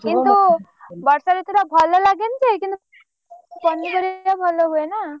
କିନ୍ତୁ ବର୍ଷା ଋତୁ ଟା ଭଲ ଲାଗେନି ଯେ କିନ୍ତୁ ପନିପରିବା ଭଲ ହୁଏ ନା!